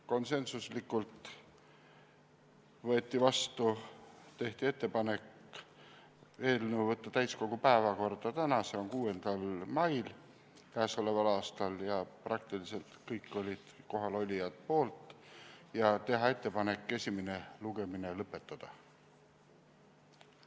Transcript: Konsensuslikult tehti ettepanek võtta eelnõu täiskogu päevakorda täna, 6. mail k.a ja teha ettepanek esimene lugemine lõpetada.